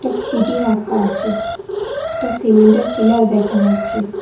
Scooty রাখা আছে একটা সিমেন্টের পিলার দেখা যাচ্ছে।